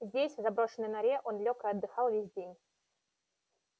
здесь в заброшенной норе он лёг и отдыхал весь день